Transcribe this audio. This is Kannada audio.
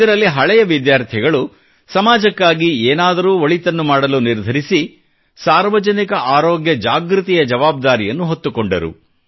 ಇದರಲ್ಲಿ ಹಳೆಯ ವಿದ್ಯಾರ್ಥಿಗಳು ಸಮಾಜಕ್ಕಾಗಿ ಏನನ್ನಾದರೂ ಒಳಿತನ್ನು ಮಾಡಲು ನಿರ್ಧರಿಸಿ ಸಾರ್ವಜನಿಕ ಆರೋಗ್ಯ ಜಾಗೃತಿಯ ಜವಾಬ್ದಾರಿಯನ್ನು ಹೊತ್ತುಕೊಂಡರು